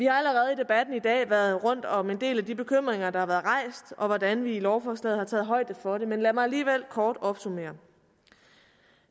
har allerede i debatten i dag været rundt om en del af de bekymringer der har været rejst og om hvordan vi i lovforslaget har taget højde for det men lad mig alligevel kort opsummere